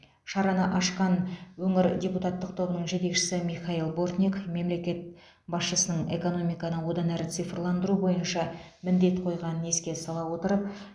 шараны ашқан өңір депутаттық тобының жетекшісі михаил бортник мемлекет басшысының экономиканы одан әрі цифрландыру бойынша міндет қойғанын еске сала отырып